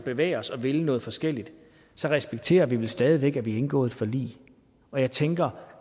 bevæge os og vil noget forskelligt så respekterer vi stadig væk at vi har indgået et forlig og jeg tænker